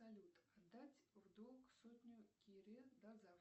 салют дать в долг сотню кире до завтра